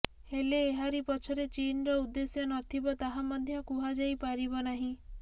ହେଲେ ଏହାରି ପଛରେ ଚୀନର ଉଦ୍ଦେଶ୍ୟ ନଥିବ ତାହା ମଧ୍ୟ କୁହାଯାଇ ପାରିବ ନାହିଁ